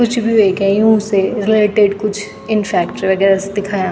कुछ भी वेग्या यूँ से रिलेटेड कुछ इन फैक्ट्री वगैरा सी दिखयाँ।